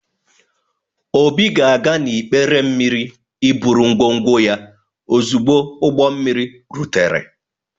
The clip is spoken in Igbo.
Obi ga-aga n’ikpere mmiri iburu ngwongwo ya ozugbo ụgbọ mmiri rutere.